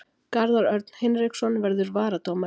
Garðar Örn Hinriksson verður varadómari.